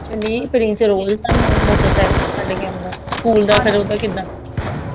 ਤੇ ਨਹੀਂ ਪ੍ਰਿੰਸ ਰੋਜ ਤੁਹਾਨੂੰ ਮੋਟਰਸਾਈਕਲ ਤੇ ਛੱਡ ਕੇ ਆਉਂਦਾ ਸਕੂਲ ਦਾ ਫੇਰ ਓਹਦਾ ਕਿੱਦਾਂ